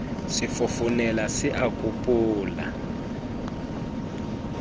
se fofonela se a kopola